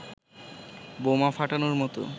বোমা ফাটানোর মতোই